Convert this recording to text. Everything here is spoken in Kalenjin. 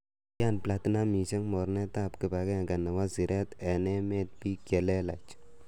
Kikiyan platinamisiek mornetab kibagenge nebo siret en emetab bik che lelach.